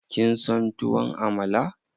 Kin son tuwon Amala?